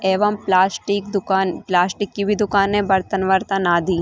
एवं प्लास्टिक दुकान प्लास्टिक की भी दुकान है बर्तन वर्तन आधी --